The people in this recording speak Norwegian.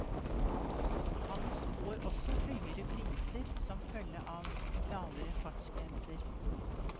Han spår også høyere priser som følge av lavere fartsgrenser.